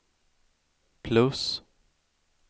plus